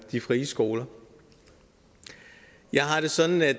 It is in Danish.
de frie skoler vi har det sådan at